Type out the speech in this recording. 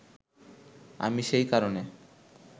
আমি সেই কারণে